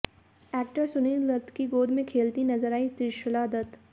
actor Sunil Dutt की गोद में खेलती नजर आईं त्रिशला दत्त